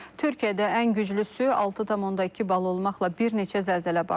Türkiyədə ən güclüsü 6,2 bal olmaqla bir neçə zəlzələ baş verib,